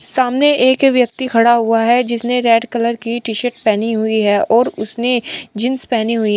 सामने एक व्यक्ति खड़ा हुआ है जिसने रेड कलर की टी-शर्ट पहनी हुई है और उसने जींस पहनी हुई --